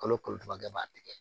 Kalo kalo e b'a tigɛ